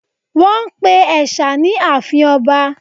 Wọ́n pe ẹ̀sà ní àfin ọba